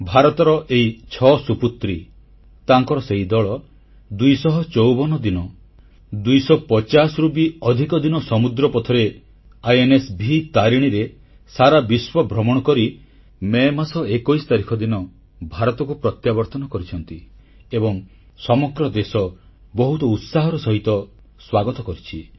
ଭାରତର ଏହି ଛଅ ସୁପୁତ୍ରୀ ତାଙ୍କର ସେହି ଦଳ 254 ଦିନ 250ରୁ ବି ଅଧିକ ଦିନ ସମୁଦ୍ର ପଥରେ ଆଇଏନଏସଭି ତାରିଣୀରେ ସାରା ବିଶ୍ୱ ଭ୍ରମଣ କରି ମେ ମାସ 21 ତାରିଖ ଦିନ ଭାରତକୁ ପ୍ରତ୍ୟାବର୍ତ୍ତନ କରିଛନ୍ତି ଏବଂ ସମଗ୍ର ଦେଶ ବହୁତ ଉତ୍ସାହର ସହିତ ସ୍ୱାଗତ କରିଛି